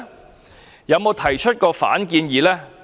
它曾否提出反建議呢？